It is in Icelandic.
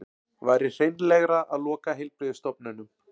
Væri hreinlegra að loka heilbrigðisstofnunum